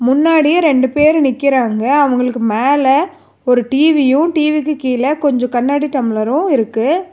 முன்னாடியே ரெண்டு பேரு நிக்கிறாங்க அவங்களுக்கு மேல ஒரு டி_வியு டி_விக்கு கீழ கொஞ்ச கண்ணாடி டம்ளரு இருக்கு.